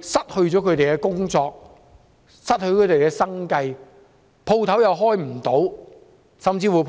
失去工作、失去生計，店鋪無法營業，甚至被人破壞？